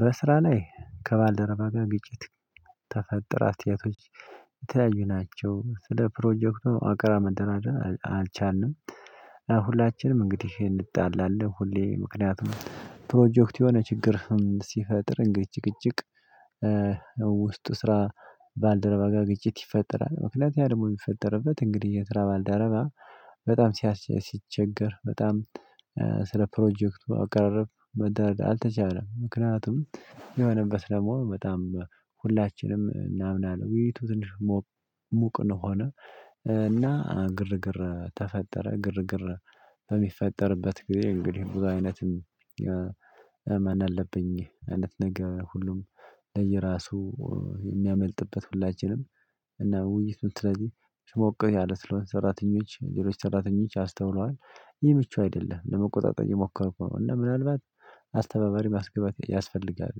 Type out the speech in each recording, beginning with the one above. በስራ ላይ ከባልደረባ ጋር ግጭት ተፈጠረ አስተያየቶች የተያዩ ናቸው ስለ ፕሮጀክቱ አቅራብ መንተራተር አልቻልንም። ሁላችንም እንግዲህ እንድጣላለን ሁሌ ምክንያቱም ፕሮጀክት የሆነ ችግር ሲፈጥር እንግድ ጭቅጭቅ ውስጥ ስራ ባልደረባ ጋር ግጭት ይፈጠራል። ምክንያቱም ያ ደግሞ የሚፈጠርበት እንግዲህ የትራ ባልደረባ በጣም ሲቸገር በጣም ስለ ፕሮጀክቱ አቀራረብ መደረግ አልተቻለም። ምክንያቱም የሆነበት ደግሞ በጣም ሁላችንም እናምናለን ውይይቱ ትንሽ ሙቅ ሙቅ ነው። ሆነ እና ግርግር ተፈጠረ። ግርግር በሚፈጠርበት ጊዜ እንግዲህ ብዙ አይነትም እመን አለብኝ አይነት ነገር ሁሉም ለየራሱ የሚያመልጥበት ሁላችንም እና ውይይቱን ስለዚህ ስሞክሩ ያለው ሰራተኞች ሌሎች ሰራተኞች አስተውለዋል። ይህ ምቹ አይደለም ለመቆጣጠር የሞከርኩ ነው። እና ምናልባት አስተባባሪ ማስገበያ ያስፈልጋል።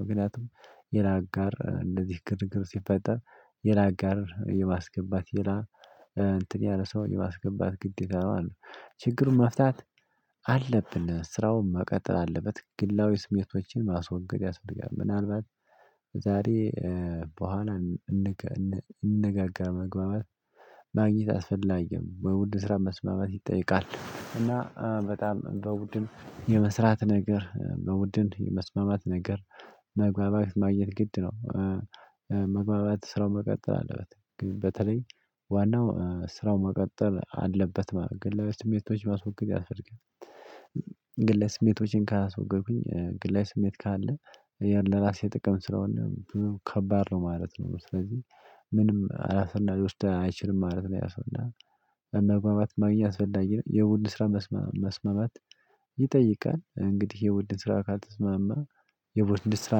ምክንያቱም የላ አጋር እንደዚህ ግርግር ሲፈጠር የላ አጋር የማስገባት የላ እንትን ያለ ሰው የማስገባት ግድ ይላሉ። ችግሩን መፍታት አለብን። ስራውን መቀጠል አለበት ግላዊ ስሜቶችን ማስወገድ ያስፈልጋል። ምናልባት ዛሬ በኋላ እንነጋገር። መግባባት ማግኘት አስፈላጊም በውድ ስራ መስማማት ይጠይቃል። እና በጣም በውድን የመስራት ነገር በውድን የመስመመት ነገር መግባባት ማግኘት ግድ ነው። መግባባት ስራውን መቀጠል አለበት ግን በተለይ ዋናው ስራው መቀጠል አለበት ማለት ግን ለስሜቶች ማስወገድ ያስፈልጋል። ግን ስሜቶችን ካስወገድኩኝ ግለ ስሜት ካለ የለራሴ ጥቅም ስለሆነ ከባድ ነው ማለት ነው። ስለዚህ ምንም አላሰናድ ወስደህ አይችልም ማለት ነው። ያሰናድ በመግባባት ማግኛ አስፈላጊ የውድ ስራ መስመማት ይጠይቃል። እንግዲህ የውድ ስራ ካልተስማማ የውድ እንድስራ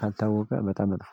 ካልታወቀ በጣም ነው